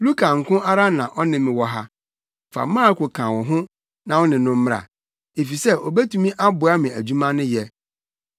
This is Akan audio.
Luka nko ara na ɔne me wɔ ha. Fa Marko ka wo ho na wo ne no mmra, efisɛ obetumi aboa me adwuma no yɛ.